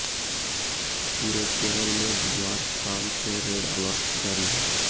पूरे केरल में बुधवार शाम से रेड अलर्ट जारी है